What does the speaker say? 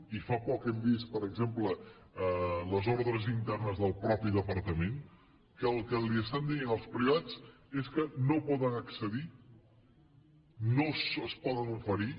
i fa poc hem vist per exemple les ordres internes del mateix departament en què el que estan dient als privats és que no poden accedir no es poden oferir